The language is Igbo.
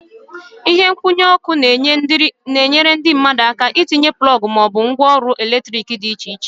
Ihe nkwụnye ọkụ na-enyere ndị mmadụ aka itinye plọg ma ọ bụ ngwaọrụ eletrik dị iche iche.